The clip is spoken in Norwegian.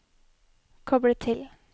koble til